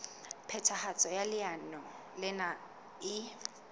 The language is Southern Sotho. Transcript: phethahatso ya leano lena e